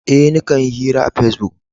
Eh, ni kan hira a pesbuk.